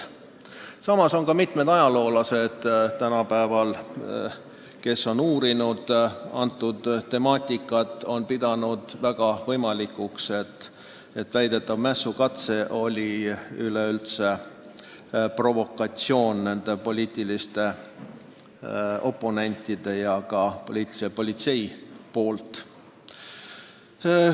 Samas on mitmed tänapäeva ajaloolased, kes on seda temaatikat uurinud, pidanud võimalikuks, et väidetav mässukatse oli hoopis nende poliitiliste oponentide ja ka politsei provokatsioon.